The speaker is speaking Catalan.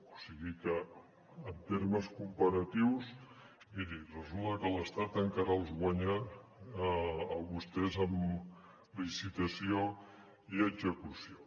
o sigui que en termes comparatius miri resulta que l’estat encara els guanya a vostès en licitació i execució